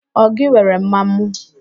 Ọ gị were ḿmàmụ?